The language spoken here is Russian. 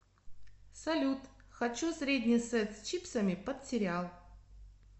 салют хочу средний сет с чипсами под сериал